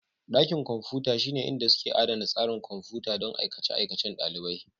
Dakin kwamfuta shine inda suke adana tsarin kwamfuta don aikace-aikacen ɗalibai.